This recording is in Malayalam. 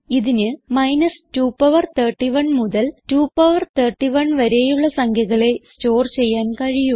ഇതിന് 2power 31 മുതൽ 2 പവർ 31 വരെയുള്ള സംഖ്യകളെ സ്റ്റോർ ചെയ്യാൻ കഴിയൂ